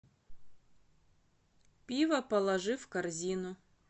пиво положи в корзину